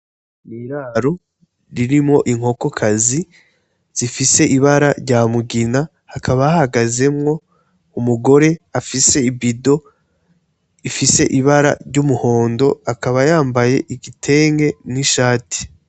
Iraro ririmwo inkokokazi zifise ibara rya mugina hakaba hahagazemwo umugore afise ibido ifise ibara ry'umuhondo akaba yambaye igitenge n' ishati.